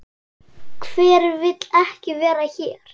Hver vill ekki vera hér?